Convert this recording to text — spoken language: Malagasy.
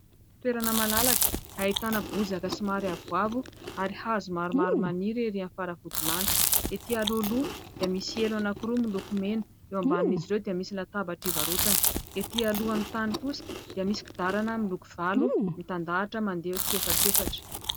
Toerana malalaka ahitana bozaka somary avoavo ary hazo maromaro maniry ery amin'ny faravody lanitra. Ety alohaloha dia misy elo anankiroa miloko mena, eo ambanin'izy ireo dia misy latabatra ivarotana, ety alohan'ny tany kosa dia misy kodiarana miloko valo mitandahatra mandeha tsiefatrefatra.